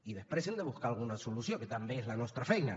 i després hem de buscar alguna solució que també és la nostra feina